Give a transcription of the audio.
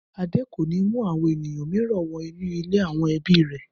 Adé kò ní mú àwọn ènìyàn mìíràn wọ inú ilé àwọn ibi rẹ̀!